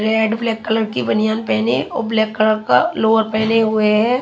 Red black colour की बनियन पेहने हैं और ब्लॅक कलर का लोवर पेहने हुए हैं।